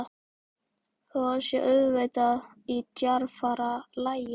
Þó að það sé auðvitað í djarfara lagi.